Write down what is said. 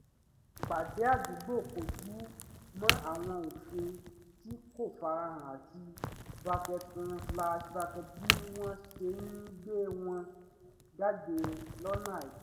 ìpàdé àdúgbò kọjú mọ́ àwọn òfin tí kò farahàn àti um bí wọ́n wọ́n ṣe ń gbé wọn jáde lọ́nà àìtọ́